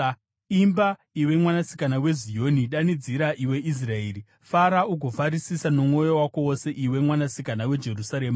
Imba, iwe Mwanasikana weZioni, danidzira, iwe Israeri! Fara ugofarisisa nomwoyo wako wose, iwe Mwanasikana weJerusarema!